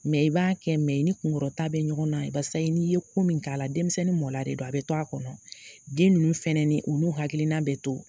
Mɛ i b'a kɛ mɛ i ni kunkɔrɔ ta bɛ ɲɔgɔn na. Barisa n'i ye ko min k'a la, denmisɛnnin mɔnla de don a bɛ to a kɔnɔ den ninnu fana u hakilina bɛ to